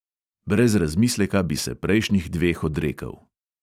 Brez razmisleka bi se prejšnjih dveh odrekel …